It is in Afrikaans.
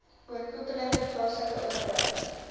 oorkoepelende plaaslike owerheid